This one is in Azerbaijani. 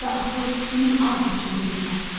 Onda atıl min ağ qoçun beyninə.